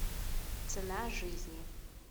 цена жизни